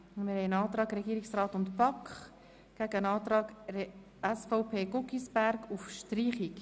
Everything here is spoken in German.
Es liegt ein Antrag des Regierungsrat und der BaK vor sowie ein Antrag SVP/Guggisberg auf Streichung.